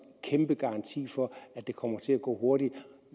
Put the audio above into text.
kæmpe garanti for at det kommer til at gå hurtigt